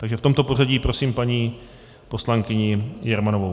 Takže v tomto pořadí prosím paní poslankyni Jermanovou.